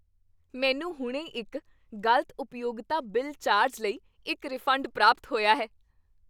ਮੈਨੂੰ ਹੁਣੇ ਇੱਕ ਗ਼ਲਤ ਉਪਯੋਗਤਾ ਬਿਲ ਚਾਰਜ ਲਈ ਇੱਕ ਰਿਫੰਡ ਪ੍ਰਾਪਤ ਹੋਇਆ ਹੈ।